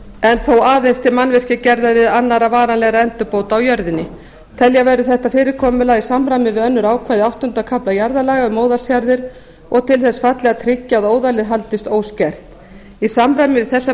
en þó aðeins til mannvirkjagerðar eða annarra varanlegra endurbóta á jörðinni telja verður þetta fyrirkomulag í samræmi við önnur ákvæði áttunda kafla jarðalaga um óðalsjarðir og til þess fallið að tryggja að óðalið haldist óskert í samræmi við þessa breytingu